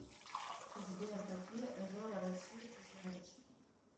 сбер какие озера россии ты знаешь